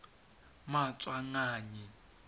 maswanganyi